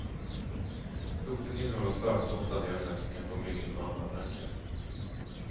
Roten innehåller starkt doftande ämnen som kan få myggen på andra tankar.